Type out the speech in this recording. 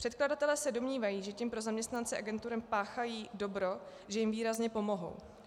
Předkladatelé se domnívají, že tím pro zaměstnance agentur páchají dobro, že jim výrazně pomohou.